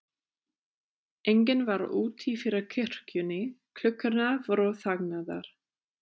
Enginn var úti fyrir kirkjunni, klukkurnar voru þagnaðar.